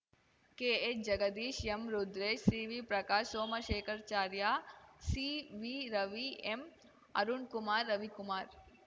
KH Jagadish M Rudresh ಸಿವಿಪ್ರಕಾಶ್‌ ಸೋಮಶೇಖರಾಚಾರ್ಯ ಸಿವಿರವಿ ಎಂಅರುಣ್‌ಕುಮಾರ್‌ Ravikumar